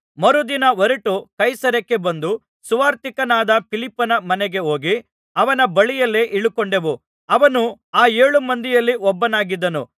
ಮರುದಿನ ಹೊರಟು ಕೈಸರೈಯಕ್ಕೆ ಬಂದು ಸುವಾರ್ತಿಕನಾದ ಫಿಲಿಪ್ಪನ ಮನೆಗೆ ಹೋಗಿ ಅವನ ಬಳಿಯಲ್ಲಿಯೇ ಇಳುಕೊಂಡೆವು ಅವನು ಆ ಏಳು ಮಂದಿಯಲ್ಲಿ ಒಬ್ಬನಾಗಿದ್ದನು